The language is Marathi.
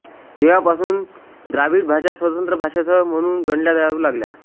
तेव्हापासून द्राविड भाषा स्वतंत्र भाषासमूह म्हणून गणल्या जाऊ लागल्या